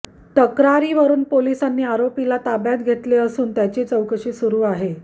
तक्रारीवरून पोलिसांनी आरोपीला ताब्यात घेतले असून त्याची चौकशी सुरु आहे